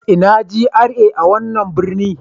Ina GRA a wannan birni?